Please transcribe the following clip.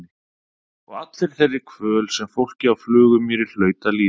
Og allri þeirri kvöl sem fólkið á Flugumýri hlaut að líða.